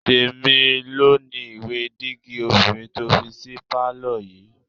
Tèmi ló ni ìwé dígí obìnrin tó fi sí pálọ̀ yìí